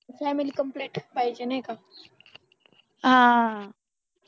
family complete च पाहिजे नाही का